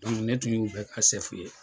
ne tun y'u bɛ ka ye